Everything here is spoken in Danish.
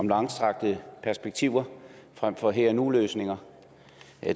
langstrakte perspektiver frem for her og nu løsninger